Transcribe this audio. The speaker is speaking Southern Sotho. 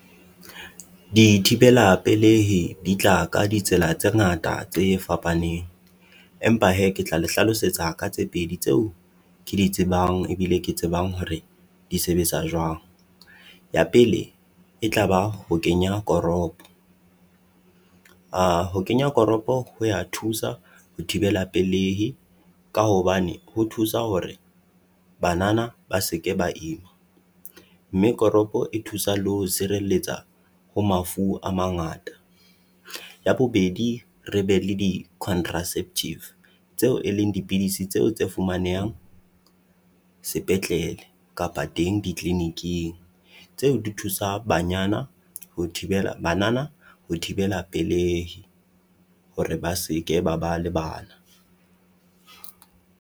Dithibela pelehi di tla ka ditsela tse ngata tse fapaneng. Empa hee ke tla le hlalosetsa ka tse pedi tseo ke di tsebang, ebile ke tsebang hore di sebetsa jwang. Ya pele e tla ba ho kenya koropo. Ho kenya koropo ho ya thusa ho thibela pelehi ka hobane ho thusa hore banana ba se ke ba ima. Mme koropo e thusa le ho sireletsa ho mafu a mangata. Ya bobedi re be le di-contraceptive tseo e leng dipidisi tseo tse fumanehang sepetlele kapa teng di-clinic-eng. Tseo di thusa banyana ho thibela banana ho thibela pelehi hore ba se ke ba ba le bana.